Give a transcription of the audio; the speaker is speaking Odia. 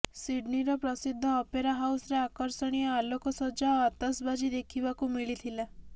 ସିଡନୀର ପ୍ରସିଦ୍ଧ ଅପେରା ହାଉସ୍ରେ ଆକର୍ଷଣୀୟ ଆଲୋକସଜ୍ଜା ଓ ଆତସବାଜି ଦେଖିବାକୁ ମିଳିଥିଲା